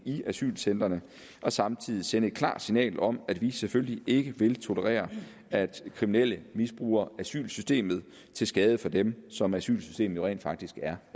i asylcentrene og samtidig sende et klart signal om at vi selvfølgelig ikke vil tolerere at kriminelle misbruger asylsystemet til skade for dem som asylsystemet rent faktisk er